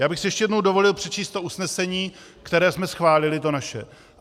Já bych si ještě jednou dovolil přečíst to usnesení, které jsme schválili, to naše.